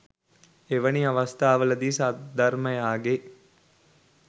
එවැනි අවස්ථාවලදී සද්ධර්මයාගේ